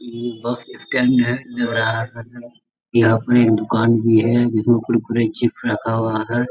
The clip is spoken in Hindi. बस स्टैंड है यहाँ पर एक दूकान भी है जिसमे कुरकुरे चिप्स रखा हुआ है।